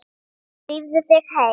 Drífðu þig heim.